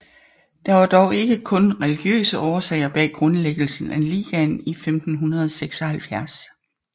Der var dog ikke kun religiøse årsager bag grundlæggelsen af ligaen i 1576